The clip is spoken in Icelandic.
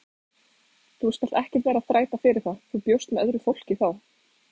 Þú skalt ekkert vera að þræta fyrir það, þú bjóst með öðru fólki þá!